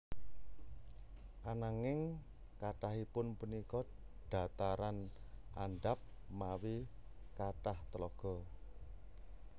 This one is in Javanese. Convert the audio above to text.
Ananging kathahipun punika dhataran andhap mawi kathah tlaga